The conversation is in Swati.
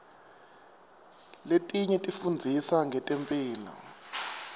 letinye tifundzisa ngetemphilo